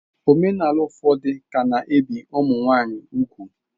Omenala ụfọdụ ka na-ebi ụmụ nwanyị ugwu.